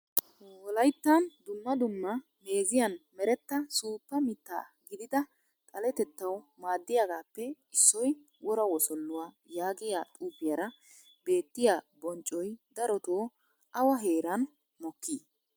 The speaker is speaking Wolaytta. Wolayttan dumma dumma meeziyan meretta suuppa miitta gidida xalatettawu maadiyagaappe issoy wora wosoluwaa yaagiyaa xuufiyara beettiya bonccoy darotoo awa heeran mokkii?